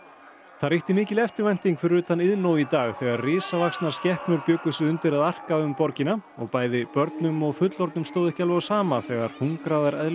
það ríkti mikil eftirvænting fyrir utan Iðnó í dag þegar risavaxnar skepnur bjuggu sig undir að arka um borgina og bæði börnum og fullorðnum stóð ekki alveg á sama þegar hungraðar